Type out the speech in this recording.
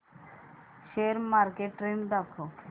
share market trend दाखव